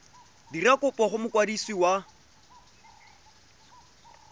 dira kopo go mokwadisi wa